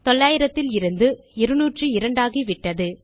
900 இலிருந்து 202 ஆகிவிட்டது